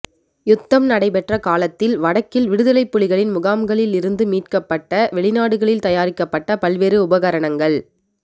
யுத்தம் நடைபெற்ற காலத்தில் வடக்கில் விடுதலைப் புலிகளின் முகாம்களில் இருந்து மீட்கப்பட்ட வெளிநாடுகளில் தயாரிக்கப்பட்ட பல்வேறு உபகரணங்கள்